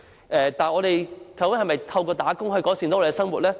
我們可以透過工作改善生活嗎？